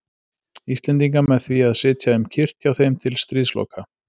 Íslendinga með því að sitja um kyrrt hjá þeim til stríðsloka.